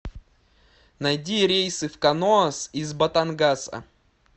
найди рейсы в каноас из батангаса